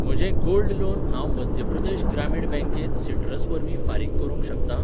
म्हजें gold loan हांव मध्य प्रदेश ग्रामीण बँकेंत सिट्रस वरवीं फारीक करूंक शकतां?